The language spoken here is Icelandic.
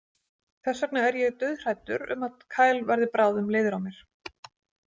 Þess vegna er ég dauðhræddur um að Kyle verði bráðum leiður á mér.